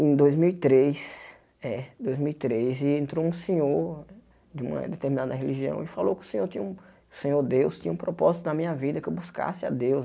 Em dois mil e três, é dois mil e três entrou um senhor de uma determinada religião e falou que o senhor tinha o Senhor Deus, tinha um propósito na minha vida, que eu buscasse a Deus.